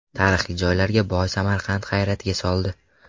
Tarixiy joylarga boy Samarqand hayratga soldi.